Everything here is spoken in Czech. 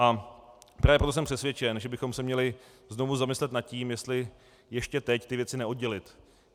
A právě proto jsem přesvědčen, že bychom se měli znovu zamyslet nad tím, jestli ještě teď ty věci neoddělit.